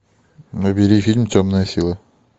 набери фильм темная сила